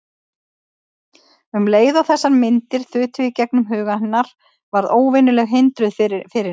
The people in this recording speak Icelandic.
Um leið og þessar myndir þutu í gegnum huga hennar varð óvenjuleg hindrun fyrir henni.